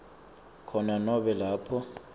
khona nobe lapho